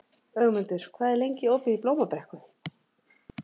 Ögmundur, hvað er lengi opið í Blómabrekku?